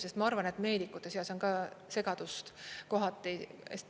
Sest ma arvan, et meedikute seas on ka segadust kohati.